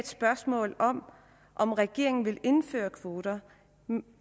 spørgsmål om om regeringen vil indføre kvoter